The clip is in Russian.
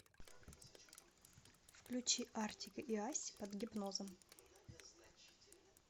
включи артик и асти под гипнозом